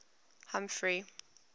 humphrey